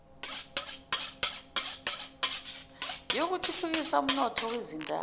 yokuthuthukisa umnotho wezindawo